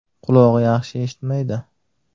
Qulog‘i yaxshi eshitmaydi.